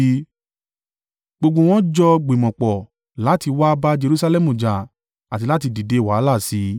Gbogbo wọn jọ gbìmọ̀ pọ̀ láti wá bá Jerusalẹmu jà àti láti dìde wàhálà sí í.